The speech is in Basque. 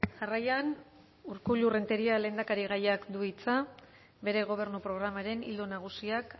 jarraian urkullu renteria lehendakarigaiak du hitza bere gobernu programaren ildo nagusiak